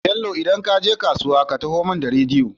Bello idan kaje kasuwa ka taho mun da rediyo